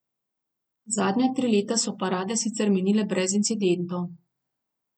Zadnja tri leta so parade sicer minile brez incidentov.